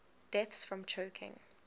deaths from choking